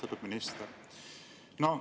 Austatud minister!